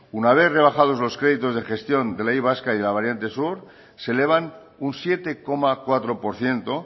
una vez rebajados los créditos de gestión de la y vasca y de la variante sur se elevan un siete coma cuatro por ciento